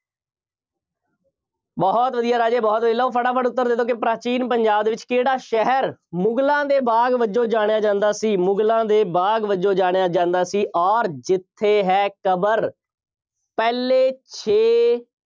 ਬਹੁਤ ਵਧੀਆ ਰਾਜੇ, ਬਹੁਤ, ਲਿਆਉ, ਫਟਾਫਟ ਉੱਤਰ ਦੇ ਦਿਓ ਕਿ ਪ੍ਰਾਚੀਨ ਪੰਜਾਬ ਦੇ ਵਿੱਚ ਕਿਹੜਾ ਸ਼ਹਿਰ ਮੁਗਲਾਂ ਦੇ ਬਾਗ ਵਜੋਂ ਜਾਣਿਆ ਜਾਂਦਾ ਸੀ। ਮੁਗਲਾਂ ਦੇ ਬਾਗ ਵਜੋਂ ਜਾਣਿਆ ਜਾਂਦਾ ਸੀ। ਅੋਰ ਜਿੱਥੇ ਹੈ ਕਬਰ ਪਹਿਲੇ ਸ਼ੇਖ